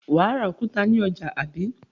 Wà á ra òkúta ní ọjà, àbí?